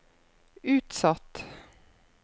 utsatt